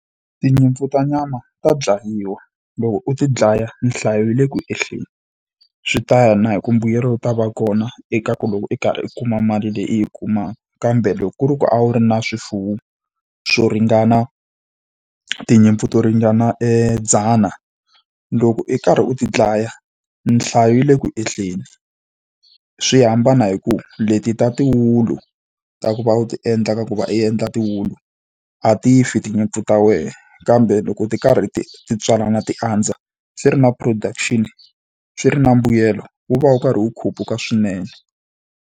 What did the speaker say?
Tinyimpfu ta nyama ta dlayiwa, loko u ti dlaya nhlayo yi le ku ehleni. Swi ta ya na hi ku mbuyelo u ta va kona eka ku loko i karhi i kuma mali leyi i yi kumaka, kambe loko ku ri ku a wu ri na swifuwo swo ringana tinyimpfu to ringana dzana, loko i karhi u ti dlaya nhlayo yi le ku ehleni. Swi hambana hi ku leti ta tiwulu ta ku va u ti endla ka ku va u endla tiwulu, a ti fi tinyimpfu ta wena. Kambe loko ti karhi ti ti tswalana ti andza swi ri na production-i, swi ri na mbuyelo wu va wu karhi wu khuphuka swinene.